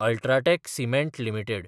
ultra tech cement limited